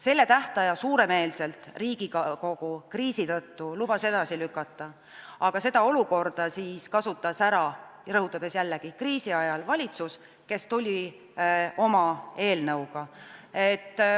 Seda tähtaega Riigikogu kriisi tõttu lubas suuremeelselt edasi lükata, aga seda olukorda kasutas ära, rõhutan jällegi, et kriisi ajal, valitsus, kes tuli oma eelnõuga.